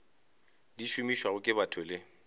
di šomišwago ke batho le